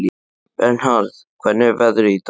Vernharð, hvernig er veðrið í dag?